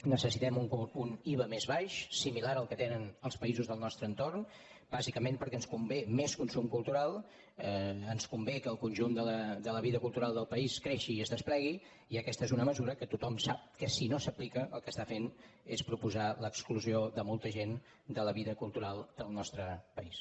necessitem un iva més baix similar al que tenen els països del nostre entorn bàsicament perquè ens convé més consum cultural ens convé que el conjunt de la vida cultural del país creixi i es desplegui i aquesta és una mesura que tothom sap que si no s’aplica el que està fent és proposar l’exclusió de molta gent de la vida cultural del nostre país